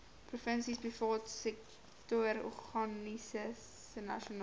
provinsie privaatsektororganisasies nasionaal